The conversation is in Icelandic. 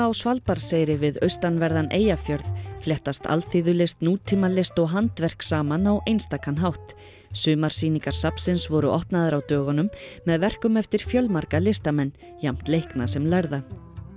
á Svalbarðseyri við austanverðan Eyjafjörð fléttast alþýðulist nútímalist og handverk saman á einstakan hátt sumarsýningar safnsins voru opnaðar á dögunum með verkum eftir fjölmarga listamenn jafnt leikna sem lærða